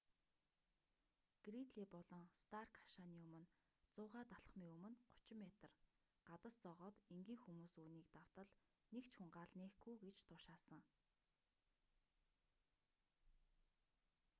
гридлий болон старк хашааны өмнө 100-д алхамын өмнө 30 метр гадас зоогоод энгийн хүмүүс үүнийг давтал нэг ч хүн гал нээхгүй гэж тушаасан